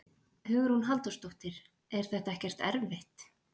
Hugrún Halldórsdóttir: Er þetta ekkert erfitt?